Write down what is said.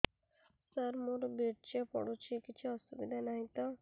ସାର ମୋର ବୀର୍ଯ୍ୟ ପଡୁଛି କିଛି ଅସୁବିଧା ନାହିଁ ତ